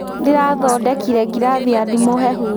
Ndĩrathondekire ngirathi ya ndimũ hehu